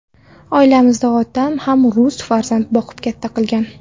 Oilamizda otam ham rus farzand boqib katta qilgan.